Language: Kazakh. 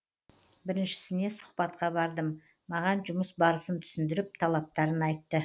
біріншісіне сұхбатқа бардым маған жұмыс барысын түсіндіріп талаптарын айтты